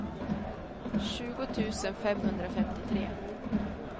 tjugo tusen femhundrafemtiotre